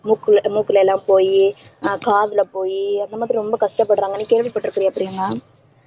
மூக்குல அஹ் மூக்குல எல்லாம் போயி ஆஹ் காதுல போயி அந்த மாதிரி ரொம்ப கஷ்டப்படுறாங்கன்னு நீ கேள்விப்பட்டிருக்கிறியா பிரியங்கா